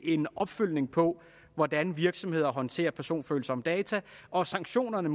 en opfølgning på hvordan virksomheder håndterer personfølsomme data og at sanktionerne